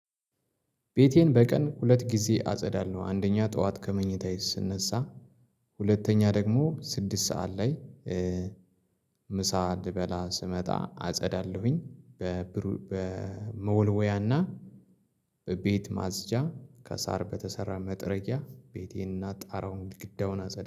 ቤቴን በቀን ሁለት ጊዜ አጸዳለው አንደኛ ጠዋት ከመኝታዬ ስነሳ። ሁለተኛ ደግሞ ስድስት ሰዓት ላይ ምሳ እንድበላ ስመጣ አጸዳለሁኝ። በመወልወያና በቤት ማጽጃ ከሳር በተሰራ መጠረጊያ ቤቴና ጣራውን ግዳውን አጸዳ